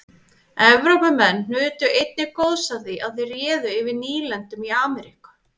evrópumenn nutu einnig góðs af því að þeir réðu yfir nýlendum í ameríku